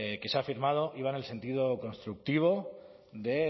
que se ha firmado iba en el sentido constructivo de